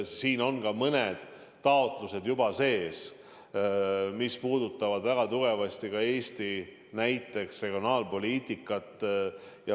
Siin on ka mõned taotlused juba sees, mis puudutavad väga tugevasti näiteks Eesti regionaalpoliitikat.